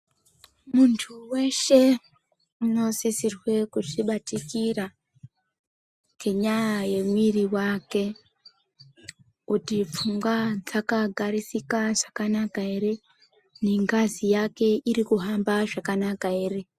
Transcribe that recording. Muntu weshe unosisirwa kuzvibatikira ngenyaya yemwiri wake kuti pfungwa dzakagarisika zvakanaka ere nengazi yake irikuhamba zvakanaka ere .